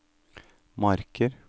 Marker